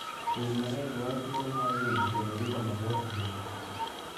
Winy mang'eny dwaro thuolo mar ringo kendo ringo mabor ahinya.